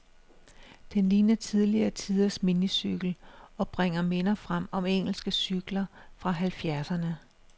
Den ligner tidligere tiders minicykel, og bringer minder frem om engelske cykler fra halvfjerdserne.